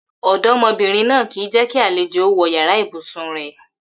Ò̩dó̩mo̩bìnrin náà kì í jé̩ kí àlejò ó wo̩ yàrá ibùsùn rè̩